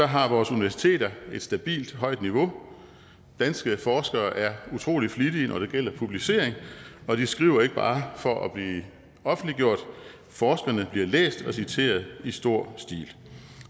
har vores universiteter et stabilt højt niveau danske forskere er utrolig flittige når det gælder publicering og de skriver ikke bare for at blive offentliggjort forskerne bliver læst og citeret i stor stil